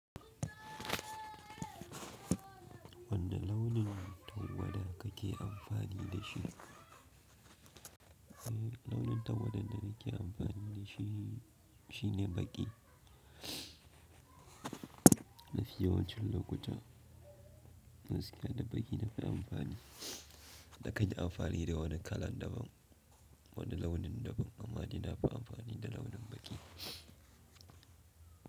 Wanne launin tawada kake amfani da shi? Launin tawada da nake amfani da shi, shine baki. Ma fi yawancin lokuta, gaskiya da baki na fi amfani. Na kan yi amfani da wani kalan daban, wani launin daban amma dai na fi amfani da launin baki.